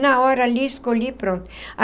Na hora ali, escolhi e pronto.